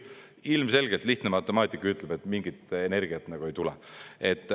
Ilmselgelt lihtne matemaatika ütleb, et mingit energiat ei tule.